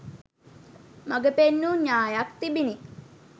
මඟ පෙන්වූ න්‍යායක් තිබිණි.